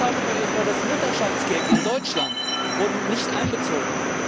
Zahlungen wie etwa das Mutterschaftsgeld in Deutschland wurden nicht einbezogen.